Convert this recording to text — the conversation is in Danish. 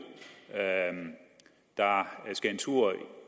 der skal en tur i